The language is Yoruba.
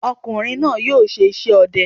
Ọ̀kùnrin náà yóò ṣe iṣẹ́ ọdẹ